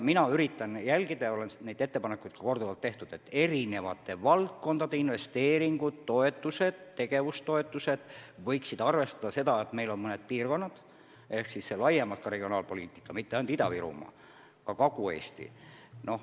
Mina üritan jälgida – neid ettepanekuid on ka korduvalt tehtud –, et eri valdkondade investeeringud ja tegevustoetused arvestaksid seda, et meil on mõned muudki probleemsed piirkonnad, on laiemaltki regionaalpoliitika: on mitte ainult Ida-Virumaa, vaid ka Kagu-Eesti.